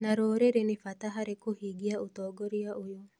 na rũrĩrĩ nĩ bata harĩ kũhingia ũtongoria ũyũ.